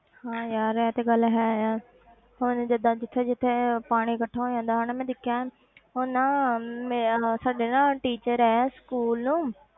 ਹਾਂ ਯਾਰ ਇਹ ਤੇ ਗੱਲ ਹੈ ਹੁਣ ਜਿੱਦਾਂ ਜਿੱਥੇ ਜਿੱਥੇ ਪਾਣੀ ਇਕੱਠਾ ਹੋ ਜਾਂਦਾ ਹਨਾ ਮੈਂ ਦੇਖਿਆ ਉਹ ਨਾ ਮੇਰਾ ਉਹ ਸਾਡੇ ਨਾ teacher ਹੈ school